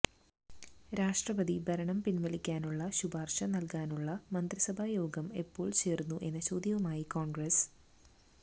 രാഷ്ട്രപതി ഭരണം പിൻവലിക്കാനുള്ള ശുപാർശ നൽകാനുള്ള മന്ത്രിസഭായോഗം എപ്പോൾ ചേർന്നു എന്ന ചോദ്യവുമായി കോൺഗ്രസ്സ്